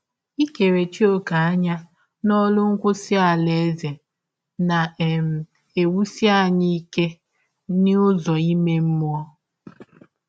Ikerechi ọ̀kè anya n’ọrụ nkwụsa Alaeze na - um ewụsi anyị ike n’ụzọ um ime mmụọ.